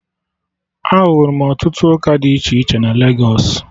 Ahụrụ m ọtụtụ ụka dị iche iche na Legos